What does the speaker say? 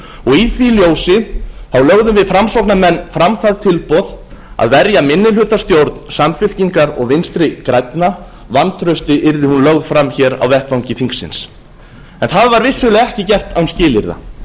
í því ljósi lögðum við framsóknarmenn fram það tilboð að verja minnihlutastjórn samfylkingar og vinstri grænna vantrausti yrði hún lögð fram hér á vettvangi þingsins það var vissulega ekki gert án skilyrða